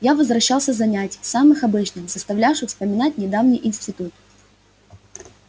я возвращался с занятий самых обычных заставлявших вспоминать недавний институт